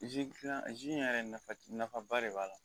in yɛrɛ nafaba de b'a la